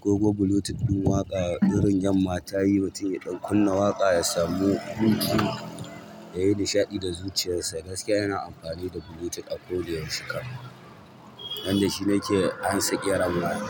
Koko Bluetooth ɗin waƙa irin yamma ta yi mutum ya ɗan kunna waƙa ya samu Bluetooth yayi nishaɗi da zuciyarsa. Gaskiya ina amfani da Bluetooth a ko da yaushe kam dandashi nake ansa kiran waya.